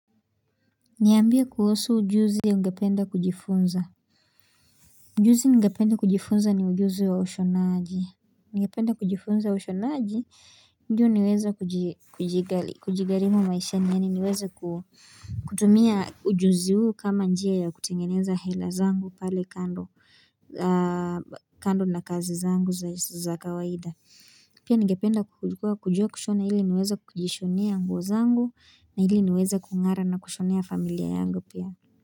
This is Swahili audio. Niambie kuhusu ujuzi ungependa kujifunza. Ujuzi ningependa kujifunza ni ujuzi wa ushonaji. Ningependa kujifunza ushonaji, ndio niweze kujigharimu maishani yaani niweze kutumia ujuzi huu kama njia ya kutengeneza hela zangu pale kando kando na kazi zangu za kawaida. Pia ningependa kujua kushona ili niweze kujishonea nguo zangu na ili niweza kung'ara na kushonea familia yangu pia.